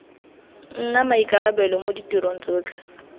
nna maikarabelo mo ditirong tsotlhe